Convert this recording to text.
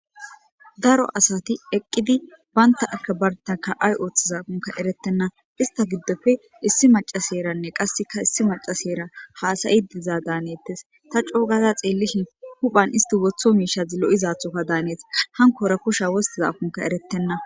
Daro asati eqidi bantaka bantaka ayin othozakoni eretena , ista giddoppe issi macasheyra qaseka issi macasheyra hasa'id diza danetesi , ta co gada xelishshin huphani isti wotho mishasi lo'izathoka danesi, hankora kusha wostizakonka eretena .